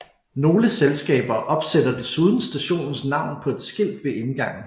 Nogle selskaber opsætter desuden stationens navn på et skilt ved indgangen